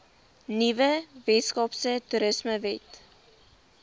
nuwe weskaapse toerismewet